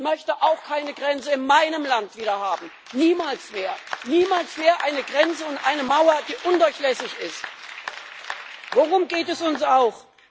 Ich möchte auch keine Grenze in meinem Land wieder haben, niemals mehr eine Grenze und eine Mauer, die undurchlässig ist. Worum geht es uns auch?